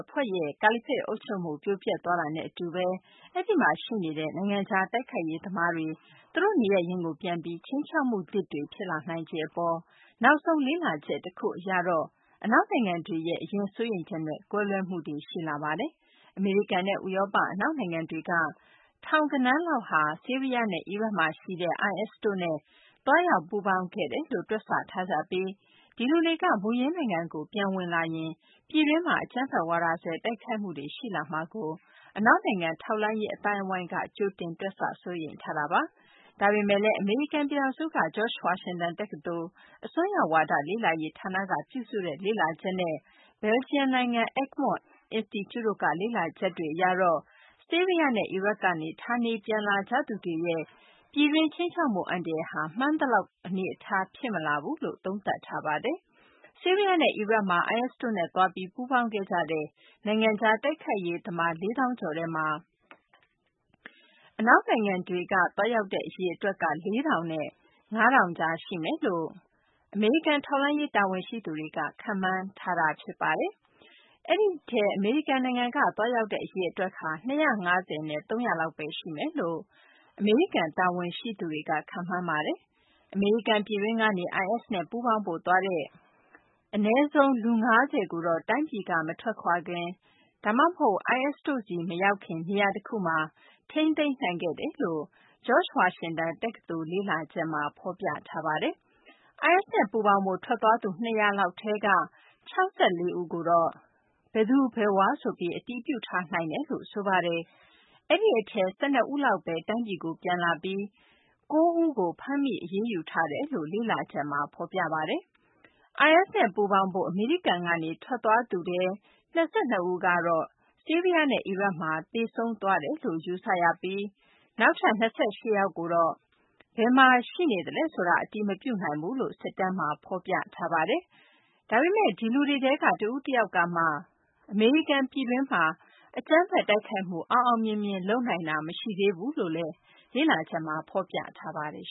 အဖွဲ့ရဲ့ ကာလီဖိတ်အုပ်ချုပ်မှုပြိုပျက်သွားတာနဲ့အတူပဲ အဲဒီမှာရှိနေတဲ့ နိုင်ငံခြားတိုက်ခိုက်ရေးသမားတွေ သူတို့နေရပ်ရင်းကိုပြန်ပြီး ခြိမ်းခြောက်မှုသစ်တွေဖြစ်လာနိုင်ခြေအပေါ် နောက်ဆုံးလေ့လာချက်တခုအရတော့၊ အနောက်နိုင်ငံတွေရဲ့ အရင်စိုးရိမ်ချက်နဲ့ ကွဲလွဲမှုတွေ ရှိလာပါတယ်။ အမေရိကန်နဲ့ ဥရောပ အနောက်နိုင်ငံတွေက ထောင်ဂဏန်းလောက်ဟာ ဆီးရီယားနဲ့အီရတ်မှာရှိတဲ့ IS တို့နဲ့ သွားရောက်ပူးပေါင်းခဲ့တယ်လို့ တွက်ဆထားပြီး၊ ဒီလူတွေ မူရင်းနိုင်ငံကို ပြန်ဝင်လာရင် ပြည်တွင်းမှာအကြမ်းဖက်ဝါဒစွဲတိုက်ခိုက်မှုတွေ ရှိလာမှာကို အနောက်နိုင်ငံထောက်လှမ်းရေးအသိုင်းအဝိုင်းက ကြိုတင်တွက်ဆ စိုးရိမ်ထားတာပါ။ ဒါပေမယ့်လည်း အမေရိကန်ပြည်ထောင်စုက George Washington တက္ကသိုလ် အစွန်းရောက်ဝါဒလေ့လာရေးဌာနက ပြုစုတဲ့ လေ့လာချက်နဲ့၊ ဘယ်ဂျီယံနိုင်ငံက Egmont အင်စတီကျူတို့က လေ့လာချက်တွေအရတော့ ဆီးရီယားနဲ့အီရတ်ကနေ ဌာနေပြန်လာကြသူတွေရဲ့ ပြည်တွင်းခြိမ်းခြောက်မှုအန္တရာယ်ဟာ မှန်းသလောက်တော့ အနေအထားဖြစ်မလာဘူးလို့ သုံးသပ်ထားပါတယ်။ ဆီးရီယားနဲ့ အီရတ်မှာ IS တို့နဲ့သွားပြီး ပူးပေါင်းခဲ့ကြတဲ့ နိုင်ငံခြားတိုက်ခိုက်ရေးသမား လေးသောင်းကျော်ထဲမှာ အနောက်နိုင်ငံတွေကသွားရောက်တဲ့အရေအတွက်ဟာ လေးထောင်နဲ့ ငါးထောင်ကြားရှိမယ်လို့ အမေရိကန်ထောက်လှမ်းရေးတာဝန်ရှိသူတွေက ခန့်မှန်းထားတာပါ။ အဲဒီအထဲ အမေရိကန်နိုင်ငံကသွားရောက်တဲ့အရေအတွက်ဟာ ၂၅၀ နဲ့ ၃၀၀ လောက်ပဲ ရှိမယ်လို့ အမေရိကန်တာဝန်ရှိသူတွေက ခန့်မှန်းပါတယ်။ အမေရိကန်ပြည်တွင်းကနေ IS နဲ့ ပူးပေါင်းဖို့သွားတဲ့ အနည်းဆုံး လူ ၅၀ ကို တိုင်းပြည်ကမထွက်ခွာခင် ဒါမှမဟုတ် IS တို့ ဆီမရောက်ခင် နေရာတခုမှာ ထိန်းသိမ်းနိုင်ခဲ့တယ်လို့ George Washington တက္ကသိုလ်လေ့လာချက်မှာ ဖော်ပြပါတယ်။ IS နဲ့ ပူးပေါင်းဖို့ ထွက်သွားသူ ၂၀၀ လောက်ထဲက ၆၄ ဦးကို ဘယ်သူ ဘယ်ဝါရယ်ဆိုပြီး အတည်ပြုထားနိုင်တယ်လို့ ဆိုပါတယ်။ အဲဒီအထဲ ၁၂ လောက်ပဲ တိုင်းပြည်ကို ပြန်လာပြီး၊ အဲဒီအထဲ ၉ ဦးကို ဖမ်းမိ အရေးယူထားတယ်လို့ အဲဒီလေ့လာချက်မှာ ဖော်ပြပါတယ်။ IS နဲ့ ပူးပေါင်းဖို့ အမေရိကန်ကနေထွက်သွားသူထဲ ၂၂ ဦးကတော့ ဆီးရီယားနဲ့ အီရတ်မှာ သေဆုံးသွားတယ်လို့ ယူဆရပြီး၊ နောက်ထပ် ၂၈ ယောက်ကိုတော့ ဘယ်မှာရှိနေလဲဆိုတာ အတည်မပြုနိုင်ဘူးလို့ စစ်တမ်းမှာဖော်ပြထားပါတယ်။ ဒါပေမယ့် ဒီလူတွေထဲက တဦးတယောက်ကမှ အမေရိကန်ပြည်တွင်းထဲမှာ အကြမ်းဖက်တိုက်ခိုက်မှုအောင်အောင်မြင်မြင်လုပ်နိုင်တာ မရှိသေးဘူးလို့လည်း လေ့လာချက်မှာ ဖော်ပြပါတယ်